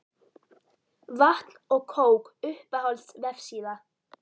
Vatn og kók Uppáhalds vefsíða?